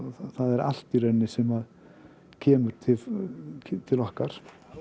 það er allt í rauninni sem kemur til til okkar